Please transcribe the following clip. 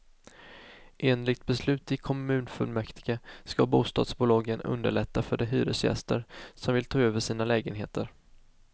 Enligt beslut i kommunfullmäktige ska bostadsbolagen underlätta för de hyresgäster som vill ta över sina lägenheter.